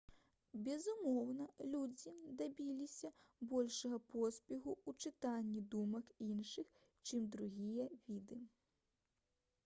безумоўна людзі дабіліся большага поспеху ў «чытанні думак» іншых чым другія віды